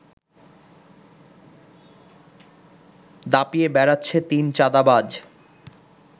দাপিয়ে বেড়াচ্ছে তিন চাঁদাবাজ